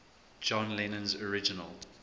john lennon's original